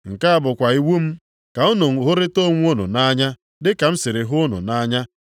Nke a bụkwa iwu m, ka unu hụrịta onwe unu nʼanya dị ka m siri hụ unu nʼanya.